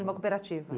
De uma cooperativa.